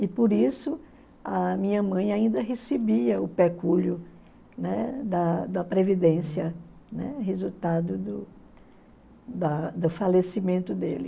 E por isso a minha mãe ainda recebia o pecúlio, né, da da previdência, né, resultado do da do falecimento dele.